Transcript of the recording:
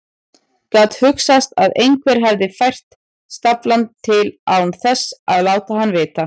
Gat hugsast að einhver hefði fært staflann til án þess að láta hann vita?